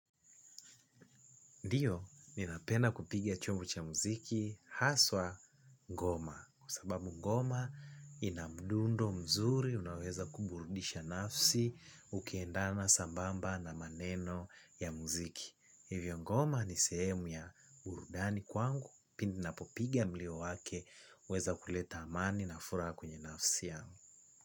Ndio ninapenda kupiga chombo cha muziki haswa ngoma. Kwa sababu ngoma ina mdundo mzuri, unaweza kuburudisha nafsi, ukiendana sambamba na maneno ya muziki. Hivyo ngoma ni sehemu ya burudani kwangu, pindi napopigia mlio wake, huweza kuleta amani na furaha kwenye nafsi yangu.